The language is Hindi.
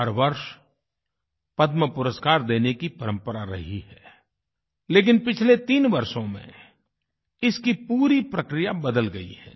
हर वर्ष पद्मपुरस्कार देने की परम्परा रही है लेकिन पिछले तीन वर्षों में इसकी पूरी प्रक्रिया बदल गई है